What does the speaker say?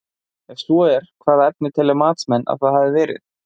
Ef svo er, hvaða efni telja matsmenn að það hafi verið?